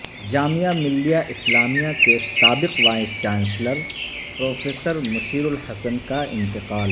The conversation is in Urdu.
جامعہ ملیہ اسلامیہ کے سابق vice chancellor professor Mushirul Hasan کاانتقال